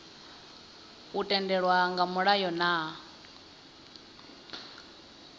u tendelwa nga mulayo na